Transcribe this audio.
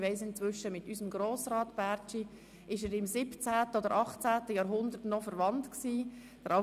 Ich weiss inzwischen, dass er mit unserem Grossrat Bärtschi im 17. oder 18. Jahrhundert noch verwandt war.